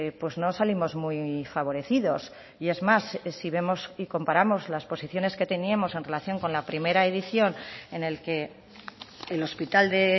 pues no salimos muy favorecidos y es más si vemos y comparamos las posiciones que teníamos en relación con la primera edición en el que el hospital de